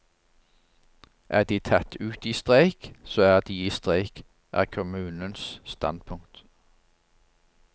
Er de tatt ut i streik, så er de i streik, er kommunens standpunkt.